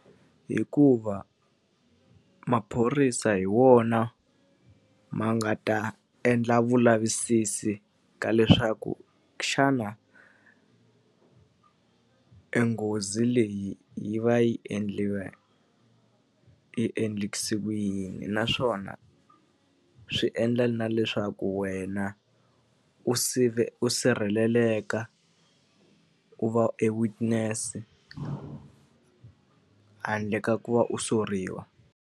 Hikuva maphorisa hi wona ma nga ta endla vulavisisi ka leswaku xana e nghozi leyi yi va yi yi endlekise ku yini. Naswona swi endla na leswaku wena u u sirheleleka, u va e witness-e handle ka ku va u soriwa.